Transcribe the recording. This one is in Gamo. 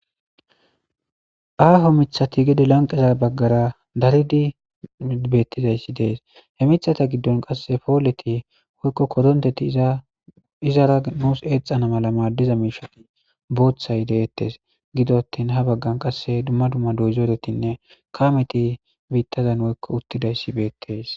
aaho mithati gede lanqeza baggara daridi bettizayssi dees he mithata giddon qasse pooleti woykko koronteti aizara nuus eexana mala maaddiza miisha booththay deettes gidottin ha baggan qasse dumma dumma doyzooretinne kaameti biittazan woykko uttidayssi beettes